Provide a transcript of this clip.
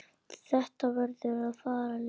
Þetta verður að fara leynt!